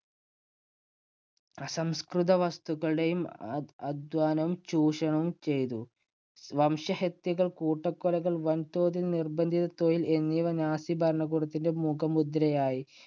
അസംസ്കൃതവസ്തുക്കളുടെയും അധ്വാനം ചൂഷണം ചെയ്തു. വംശഹത്യകൾ, കൂട്ടക്കൊലകൾ, വൻതോതില്‍ നിർബന്ധിത തൊഴിൽ എന്നിവ നാസി ഭരണകൂടത്തിന്‍റെ മുഖമുദ്രയായി.